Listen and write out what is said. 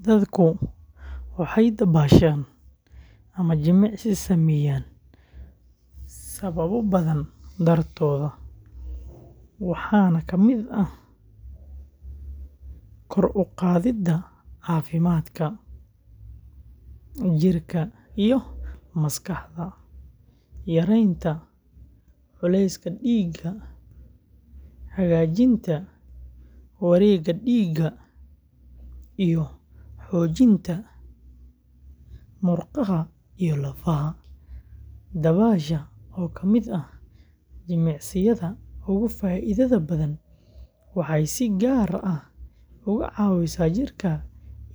Dadka waxay dabaashaan ama jimicsi sameeyaan sababo badan dartood, waxaana ka mid ah kor u qaadida caafimaadka jirka iyo maskaxda, yareynta culayska dhiigga, hagaajinta wareegga dhiigga, iyo xoojinta murqaha iyo lafaha. Dabaasha, oo ka mid ah jimicsiyada ugu faa’iidada badan, waxay si gaar ah uga caawisaa jirka